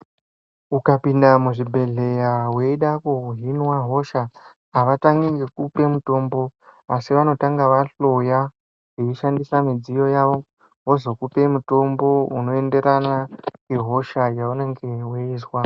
Ukapinda muzvibhedhleya yeida kuhinwa hosha havatangi ngekupa mitombo. Asi vanotanga vahloya veishandisa midziyo yavo vozokupe mutombo unoenderana nehosha yaunenge veizwa.